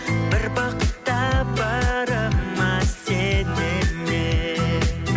бір бақыт табарыма сенемін мен